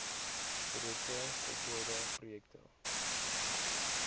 projekte voltooide projekte